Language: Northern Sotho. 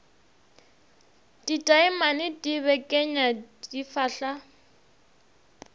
ditaemane di bekenya di fahla